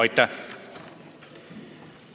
Aitäh!